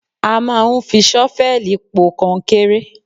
A. Máa ń fi ṣọ́fẹ̀lì po kọnkéré.